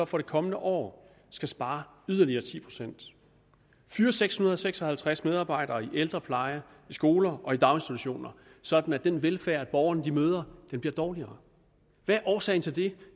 for det kommende år skal spare yderligere ti procent og fyre seks hundrede og seks og halvtreds medarbejdere i ældrepleje i skoler og i daginstitutioner sådan at den velfærd som borgerne møder bliver dårligere hvad er årsagen til det